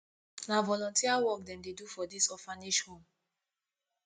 na volunteer work dem dey do for dis orphanage home